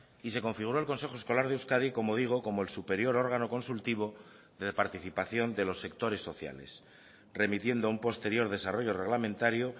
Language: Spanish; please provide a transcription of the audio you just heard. y se configuró el consejo escolar de euskadi como digo como el superior órgano consultivo de participación de los sectores sociales remitiendo un posterior desarrollo reglamentario